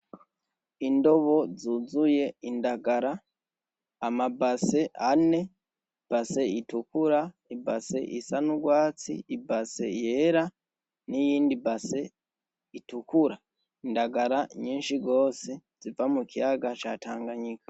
Indobo zuzuye indagara amambase ane imbase itukura, imbase isa n'urwatsi, imbase yera niyindi mbase itukuru, indangara nyinshi gose ziva mukiyaga ca Tanganyika.